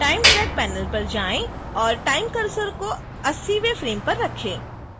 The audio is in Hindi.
time track panel पर जाएं और time cursor को 80वें फ्रेम पर रखें